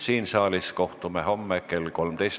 Siin saalis kohtume homme kell 13.